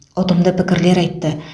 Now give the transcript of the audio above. ұтымды пікірлер айтты